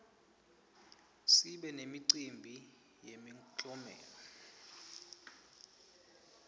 sibe nemicimbi yemiklomelo